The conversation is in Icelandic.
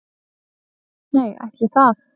"""Nei, ætli það."""